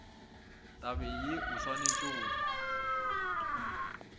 tabeng ye o swanetšego go